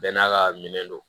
Bɛɛ n'a ka minɛn don